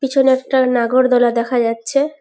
পিছনে একটা নাগরদোলা দেখা যাচ্ছে।